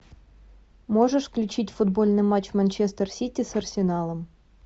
можешь включить футбольный матч манчестер сити с арсеналом